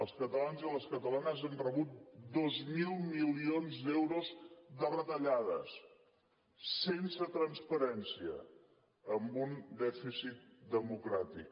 els catalans i les catalanes han rebut dos mil milions d’euros de retallades sense transparència amb un dèficit democràtic